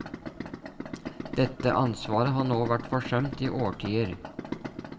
Dette ansvaret har nå vært forsømt i årtier.